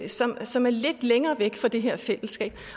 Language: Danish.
som som er lidt længere væk fra det her fællesskab